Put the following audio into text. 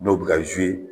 N'o bɛ ka